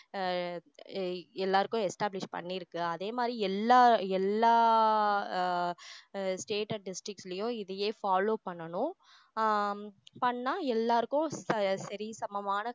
ஆஹ் அஹ் எல்லாருக்கும் establish பண்ணி இருக்கு அதே மாதிரி எல்லா எல்லா ஆஹ் அஹ் state and district லயும் இதையே follow பண்ணணும் ஆஹ் பண்ணா எல்லாருக்கும் ச~ சரி சமமான